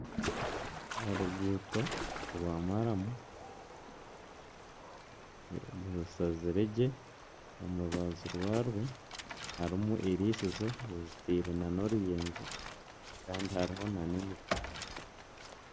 Oruguuto rwa maramu. Rushazirwe gye omu rubaju rwarwo. Harimu eiriisizo rizitiire n'oruyenje kandi hariho n'emiti.